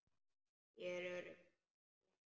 Ég er örugg í henni.